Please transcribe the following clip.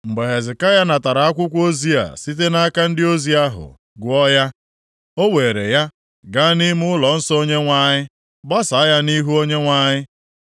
Mgbe Hezekaya natara akwụkwọ ozi a site nʼaka ndị ozi ahụ, gụọ ya, o weere ya gaa nʼime ụlọnsọ Onyenwe anyị, gbasaa ya nʼihu Onyenwe anyị.